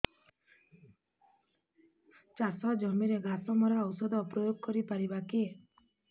ଚାଷ ଜମିରେ ଘାସ ମରା ଔଷଧ ପ୍ରୟୋଗ କରି ପାରିବା କି